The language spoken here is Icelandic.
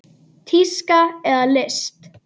Tíska eða list?